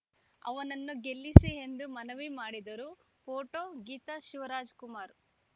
ಅವನನ್ನು ಗೆಲ್ಲಿಸಿ ಎಂದು ಮನವಿ ಮಾಡಿದರು ಫೋಟೋ ಗೀತಾ ಶಿವರಾಜಕುಮಾರ್‌